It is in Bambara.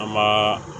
An ma